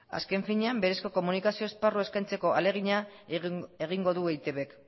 azken finean berezko komunikazio esparrua eskaintzeko ahalegina egingo du eitbk